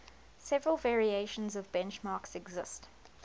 several variations of benchmarks exist